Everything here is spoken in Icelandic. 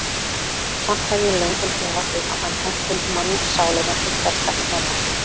Samt hef ég löngum efast um, að hann henti mannssálinni til hversdagsnota.